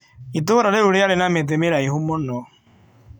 Itũũra rĩu rĩarĩ na mĩtĩ mĩraihu mũno.